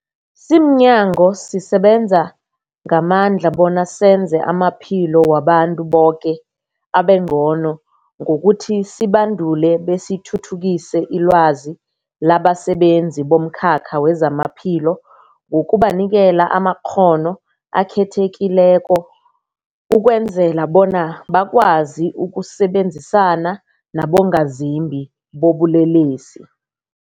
Simnyango, sisebenza ngamandla bona senze amaphilo wabantu boke abengcono ngokuthi sibandule besithuthukise ilwazi labasebenzi bomkhakha wezamaphilo ngokubanikela amakghono akhethekileko ukwenzela bona bakwazi ukusebenzisana nabongazimbi bobulelesi.